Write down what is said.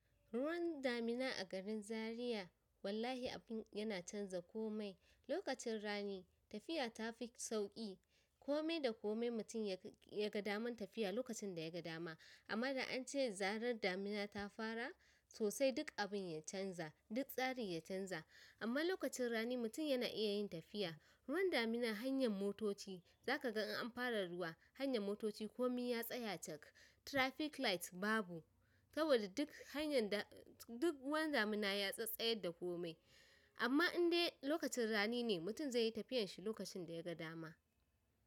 Ruwan damina a garin Zaria wallahi abin yana canza komai. Lokacin rani tafiya ta fi sauƙi. Komai da komai mutum ya ga daman tafiya lokacin da ya ga dama. Amma da an ce zarar damina ta fara, sosai duk abin ya canza, duk tsarin ya canza. Amma lokacin rani mutum yana iya yin tafiya. Ruwan damina hanyan motoci, zakaga in an fara ruwa hanyan motoci komai ya tsaya cak. Traffic light babu. Saboda duk hanyar da duk ruwan damina ya tsattsayar da komai. Amma in dai lokacin rani ne mutum zai yi tafiyan shi lokacin da ya ga dama.